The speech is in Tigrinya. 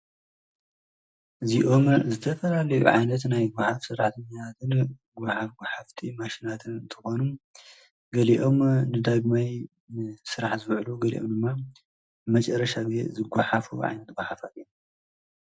እዚኦም ዝተፈራልዑ ዓይነት ናይ ጐኃፍ ሥራትኛትን ጐሃፍሓፍቲ ማሽናትን ተኾኑ ገሊኦም ድዳግመይ ሥራሕ ዝበዕሉ ገሊኦም ድማ መጨረሻ ጊዕ ዝጐሓፍ ብዓይኒት እዮም።